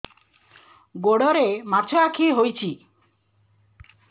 ଗୋଡ଼ରେ ମାଛଆଖି ହୋଇଛି